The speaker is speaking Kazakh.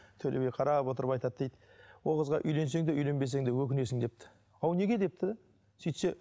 төле би қарап отырып айтады дейді ол қызға үйленсең де үйленбесең де өкінесің депті ау неге депті де сөйтсе